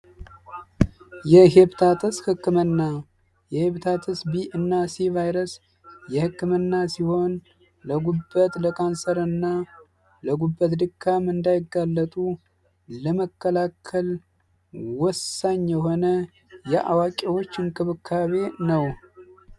የሄፕታተስ ሕክምና የሄፕታተስ ቢ እና ሲህ ቫይረስ የሕክምና ሲሆን ለጉበት ለካንሰር እና ለጉበት ድካም እንዳይጋለጡ ለመከላከል ወሳኝ የሆነ የአዋቂዎች እንክብካቤ ነው።